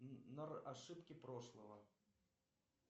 ошибки прошлого